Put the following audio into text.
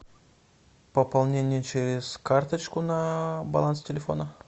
пополнение через карточку на баланс телефона